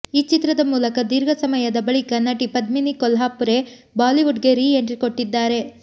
ಈ ಚಿತ್ರದ ಮೂಲಕ ದೀರ್ಘ ಸಮಯದ ಬಳಿಕ ನಟಿ ಪದ್ಮಿನಿ ಕೊಲ್ಹಾಪುರೆ ಬಾಲಿವುಡ್ಗೆ ರೀ ಎಂಟ್ರಿ ಕೊಟ್ಟಿದ್ದಾರೆ